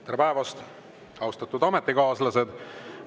Tere päevast, austatud ametikaaslased!